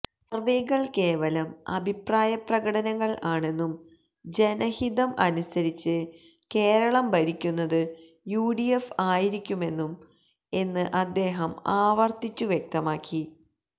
സർവേകൾ കേവലം അഭിപ്രായപ്രകടനങ്ങൾ ആണെന്നും ജനഹിതം അനുസരിച്ച് കേരളം ഭരിക്കുന്നത് യുഡിഎഫ് ആയിരിക്കുമെന്നും എന്ന് അദ്ദേഹം ആവർത്തിച്ചു വ്യക്തമാക്കി